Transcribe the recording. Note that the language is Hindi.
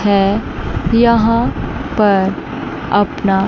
है यहां पर अपना--